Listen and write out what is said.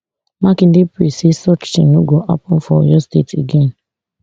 makinde pray say such tin no go happun for oyo state again